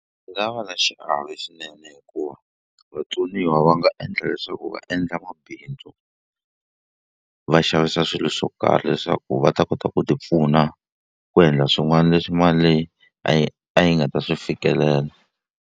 nga va na xiave swinene hikuva vatsoniwa va nga endla leswaku va endla mabindzu va xavisa swilo swo karhi leswaku va ta kota ku ti pfuna ku endla swin'wani leswi mali leyi a yi a yi nga ta swi fikelela.